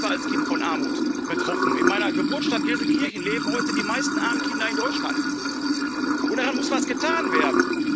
Ich selbst war als Kind von Armut betroffen in meiner Geburtsstadt Gelsenkirchen leben heute die meisten armen Kinder in Deutschland, und da muss was getan werden.